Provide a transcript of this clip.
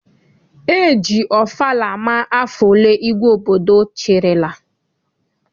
E ji ọfala ama afọ ole igwe obodo chịrịla.